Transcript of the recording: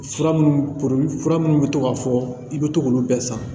Fura minnu fura minnu bɛ to k'a fɔ i bɛ to k'olu bɛɛ san